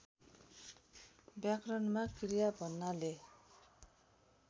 व्याकरणमा क्रिया भन्नाले